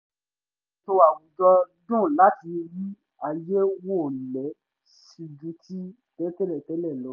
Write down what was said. ẹ̀rọ ètò àwùjọ dùn láti rí ààye wọlé sí ju ti tẹ́ẹlẹ̀ lọ